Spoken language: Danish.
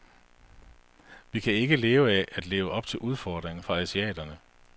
Vi kan ikke leve af at leve op til udfordringen fra asiaterne.